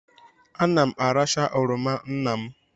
Ana m aracha oroma nna m.